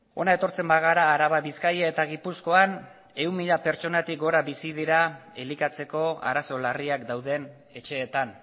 hona etortzen bagara araban bizkaian eta gipuzkoan ehun mila pertsonetatik gora bizi dira elikatzeko arazo larriak dauden etxeetan